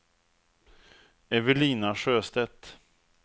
Evelina Sjöstedt